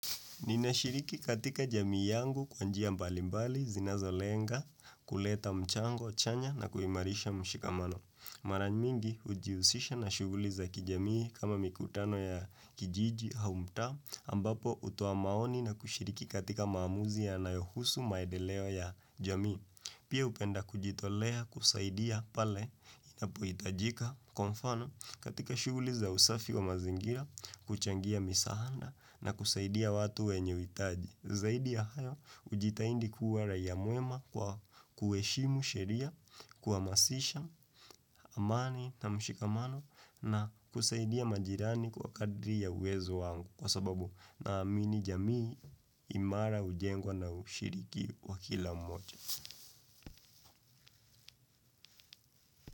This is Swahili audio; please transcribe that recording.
Ninashiriki katika jamii yangu kwa njia mbali mbali, zinazolenga, kuleta mchango, chanya na kuhimarisha mshikamano. Mara nyingi hujiusisha na shughuli za kijamii kama mikutano ya kijiji au mtaa, ambapo hutoa maoni na kushiriki katika maamuzi yanayohusu maedeleo ya jamii. Pia hupenda kujitolea kusaidia pale inapohitajika kwa mfano katika shughuli za usafi wa mazingira kuichangia misahanda na kusaidia watu wenye uitaji. Zaidi ya hayo ujitahadi kuwa raia mwema kwa kuheshimu sheria, kuhamasisha, amani na mshikamano na kusaidia majirani kwa kadri ya uwezo wangu kwa sababu naamini jamii imara hujengwa na ushiriki wa kila moja.